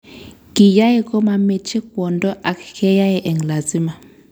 Kiyae komameche kwondo ak keyae eng lasima